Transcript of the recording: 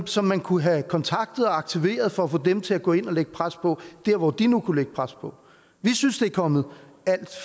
som man kunne have kontaktet og aktiveret for at få dem til at gå ind og lægge pres på der hvor de nu kan lægge pres på vi synes det er kommet alt